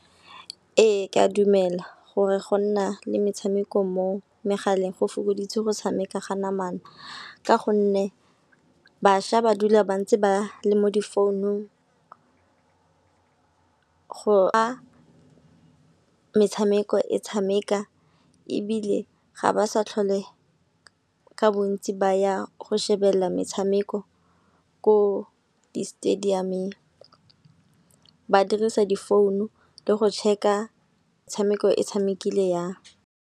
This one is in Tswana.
Ee, ke a dumela gore go nna le metshameko mo megaleng go fokoditse go tshameka ka namana. Ka gonne baša ba dula ba ntse ba le mo di founung a metshameko e tshameka ebile ga ba sa tlhole ka bontsi ba ya go shebela metshameko ko di-stadium-eng. Ba dirisa di founu le go check-a e tshamekile jang.